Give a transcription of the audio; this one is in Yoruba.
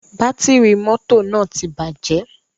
Bátìrì mọ́tò náà ti bàjẹ̀.